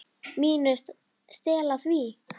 MÍNU. Stela því?